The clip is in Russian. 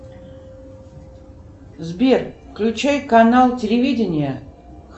сбер включай канал телевидения